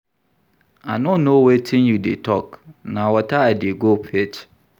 I no know wetin you dey talk, na water I dey go fetch